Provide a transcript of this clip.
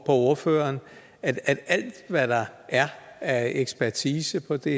ordføreren at alt hvad der er af ekspertise på det